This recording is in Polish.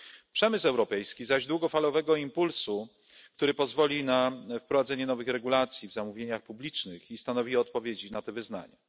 Przemysł europejski zaś potrzebuje długofalowego impulsu, który pozwoli na wprowadzenie nowych regulacji w zamówieniach publicznych i stanowi odpowiedź na te wyzwania.